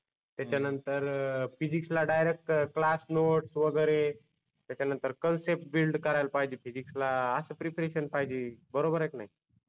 त्याच्या नंतर फिजिक्सला डायरेक्ट क्लास नोट्स वगेरे त्याच्या नंतर कन्सेप्ट बिल्ड करायला पाहिजे फिजिक्सला अस प्रिपरेशन पाहिजे बरोबर आहे की नाही